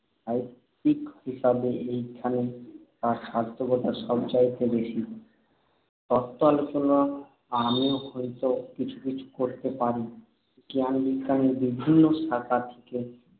সাহিত্যিক হিসাবে এইখানেই তাঁর সার্থকতা সবচাইতে বেশি। তত্ত্ব আলোচনা আমিও হয়তো কিছু কিছু করতে পারি। জ্ঞান-বিজ্ঞানের বিভিন্ন শাখা থেকে